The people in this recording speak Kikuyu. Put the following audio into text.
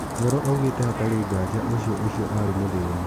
Vero aũgire hatarĩ ngaja ũcio ũcio arĩ mũthĩni.